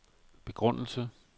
begrundelse